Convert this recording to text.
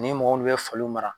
Ni min be mɔgɔw mara